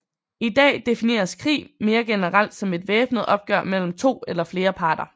I dag defineres krig mere generelt som et væbnet opgør mellem to eller flere parter